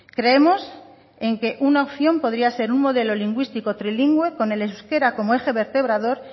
creemos en que una opción podría ser un modelo lingüístico trilingüe con el euskera como eje vertebrador